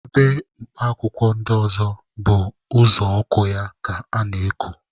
Ebe mkpa akwụkwọ ndị ọzọ bụ uzuọkụ ya ka ana-eku.